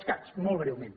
els cat molt breument